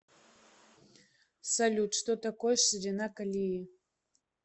салют что такое ширина колеи